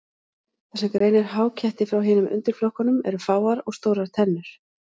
Það sem greinir háketti frá hinum undirflokkunum eru fáar og stórar tennur.